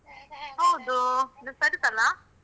ಹೌದು. ಇದು ಸರಿತಾನಾ?